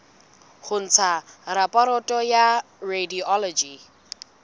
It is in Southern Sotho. ho ntsha raporoto ya radiology